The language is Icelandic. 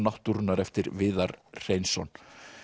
náttúrunnar eftir Viðar Hreinsson